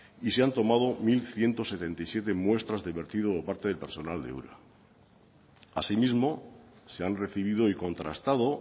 y se han tomado mil ciento setenta y siete muestras de vertido por parte del personal de ura así mismo se han recibido y contrastado